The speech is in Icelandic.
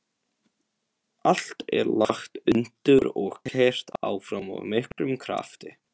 Allt er lagt undir og keyrt áfram af miklum krafti.